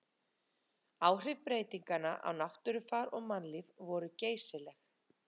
áhrif breytinganna á náttúrufar og mannlíf voru geysileg